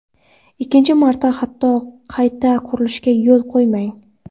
ikkinchi marta hatto qayta qurilishiga yo‘l qo‘ymang.